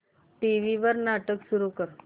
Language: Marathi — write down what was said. टीव्ही वर नाटक सुरू कर